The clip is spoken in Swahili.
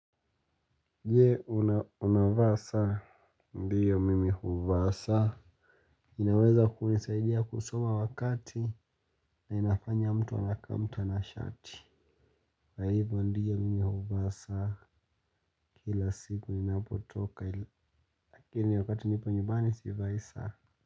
Je unavaa saa ndiyo mimi huvaa saa. Inaweza kunisaidia kusoma wakati na inafanya mtu wa anaka mtanashati. Kwa hivyo ndiyo mimi huvaa saa kila siku ni napotoka kila wakati nipo nyumbani sivai saa.